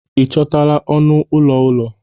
ị chọtala ọnụ ụlọ ụlọ?